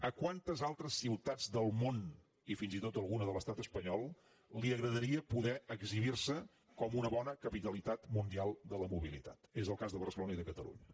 a quantes altres ciutats del món i fins i tot alguna de l’estat espanyol li agradaria poder exhibir se com una bona capitalitat mundial de la mobilitat és el cas de barcelona i de catalunya